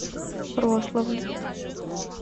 рославль